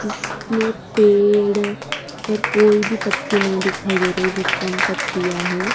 जिसमें पेड़ पर कोई भी पत्ती नहीं दिखाई दे रही है बहुत कम पत्तियां है।